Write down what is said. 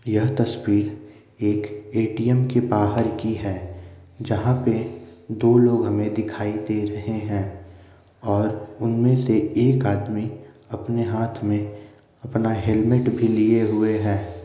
यह तस्वीर एक एटीएम के बाहर की है जहां पे दो लोग हमें दिखाई दे रहे हैं और उनमें से एक आदमी अपने हाथ में अपना हेलमेट भी लिए हुए हैं।